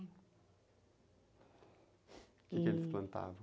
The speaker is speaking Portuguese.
O que que eles plantavam?